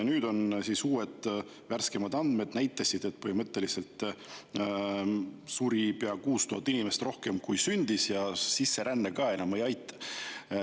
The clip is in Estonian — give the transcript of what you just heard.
Nüüd on uued, värskemad andmed, mis näitavad, et põhimõtteliselt suri pea 6000 inimest rohkem, kui sündis, ja sisseränne ka enam ei aita.